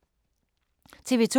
TV 2